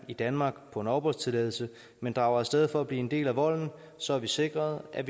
i danmark på en opholdstilladelse men drager af sted for at blive en del af volden så har vi sikret at